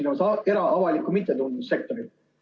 Ma pean silmas era-, avalikku ja mittetulundussektorit.